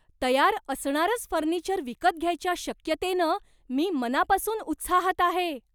तयार असणारंच फर्निचर विकत घ्यायच्या शक्यतेनं मी मनापासून उत्साहात आहे.